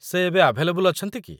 ସେ ଏବେ ଆଭେଲେବଲ୍ ଅଛନ୍ତି କି?